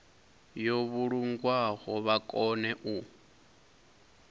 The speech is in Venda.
yo vhulungwaho vha kone u